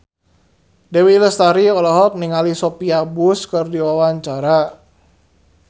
Dewi Lestari olohok ningali Sophia Bush keur diwawancara